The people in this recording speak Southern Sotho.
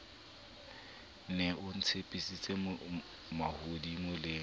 ne o ntshepisa mahodimo le